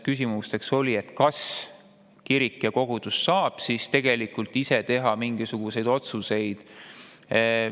Küsimused olid, kas kirik ja kogudus saab tegelikult ise teha mingisuguseid otsuseid.